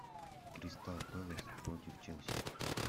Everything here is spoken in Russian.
кристал пэлас против челси